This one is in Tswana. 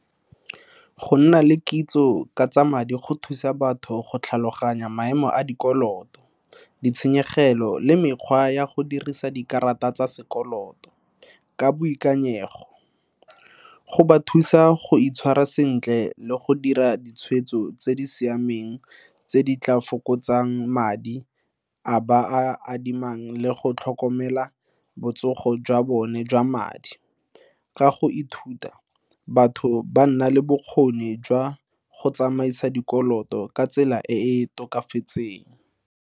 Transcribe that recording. Go nna le kitso ka tsa madi go thusa batho go tlhaloganya maemo a dikoloto, ditshenyegelo le mekgwa ya go dirisa dikarata tsa sekoloto ka boikanyego. Go ba thusa go itshwara sentle le go dira ditshwetso tse di siameng tse di tla fokotsang madi a ba a adimang, le go tlhokomela botsogo jwa bone jwa madi. Ka go ithuta, batho ba nna le bokgoni jwa go tsamaisa dikoloto ka tsela e e tokafatseng.